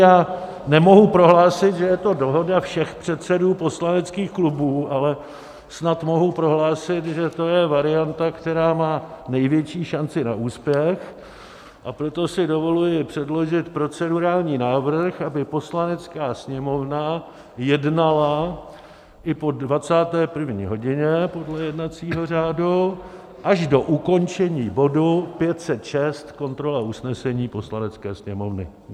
Já nemohu prohlásit, že je to dohoda všech předsedů poslaneckých klubů, ale snad mohu prohlásit, že to je varianta, která má největší šanci na úspěch, a proto si dovoluji předložit procedurální návrh, aby Poslanecká sněmovna jednala i po 21. hodině podle jednacího řádu až do ukončení bodu 506, kontrola usnesení Poslanecké sněmovny.